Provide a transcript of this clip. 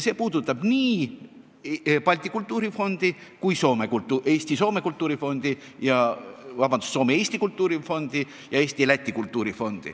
See puudutab nii Balti Kultuurifondi kui ka Soome-Eesti Kultuurifondi.